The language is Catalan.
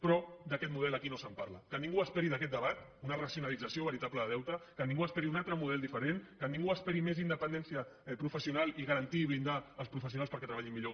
però d’aquest model aquí no se’n parla que ningú esperi d’aquest debat una racionalització veritable de deute que ningú esperi un altre model diferent que ningú esperi més independència professional i garantir i blindar els professionals perquè treballin millor